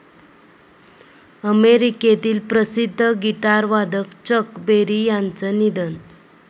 अमेरिकेतील प्रसिद्ध गिटारवादक चक बेरी यांचं निधन